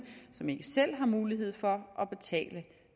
som ikke selv har mulighed for at betale